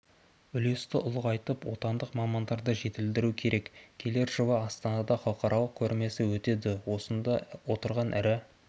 үлесті ұлғайтып отандық мамандарды жетілдіру керек келер жылы астанада халықаралық көрмесі өтеді осында отырған ірі